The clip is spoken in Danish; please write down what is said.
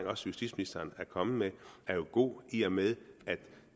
også justitsministeren er kommet med er jo god i og med at